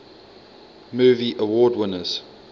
movie award winners